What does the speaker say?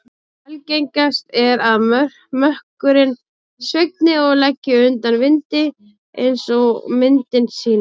Algengast er að mökkurinn svigni og leggi undan vindi eins og myndin sýnir.